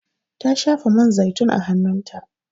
Ta shafa man zaitun a hanun ta